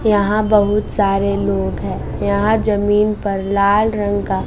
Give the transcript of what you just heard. यहां बहुत सारे लोग हैं यहां जमीन पर लाल रंग का--